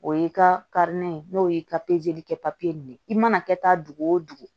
O y'i ka ye n'o ye ka pezeli kɛ papiye ɲini i mana kɛ taa dugu o dugu